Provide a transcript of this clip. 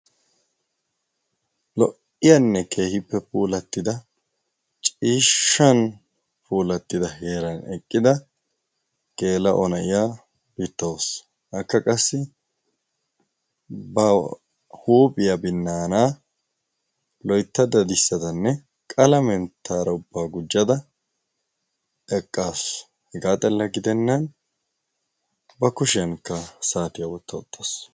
lo''iyaanne keehippe puulattida ciishshan puulattida heeran eqqida geela'o na'iya bittaawus akka qassi ba huuphiyaa binnaanaa loyttad dadissadanne qalamenttara ubbaa gujjada eqqaasu hegaa xella gidennan ba kushiyankka saatiyaa wotta uttaas